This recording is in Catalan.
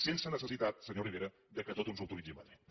sense necessitat senyor rivera que tot ens ho autoritzi madrid